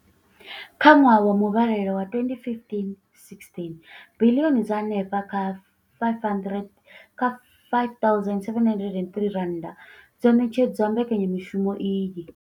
Kha ṅwaha wa muvhalelano wa 2015,16, biḽioni dza henefha kha R5 703 dzo ṋetshedzwa mbekanya mushumo iyi.